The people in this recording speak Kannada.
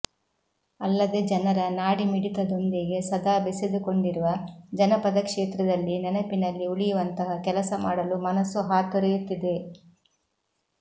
ಅಲ್ಲದೆ ಜನರ ನಾಡಿಮಿಡಿತದೊಂದಿಗೆ ಸದಾ ಬೆಸೆದುಕೊಂಡಿರುವ ಜನಪದ ಕ್ಷೇತ್ರದಲ್ಲಿ ನೆನಪಿನಲ್ಲಿ ಉಳಿಯುವಂತಹ ಕೆಲಸ ಮಾಡಲು ಮನಸ್ಸು ಹಾತೊರೆಯುತ್ತಿದೆ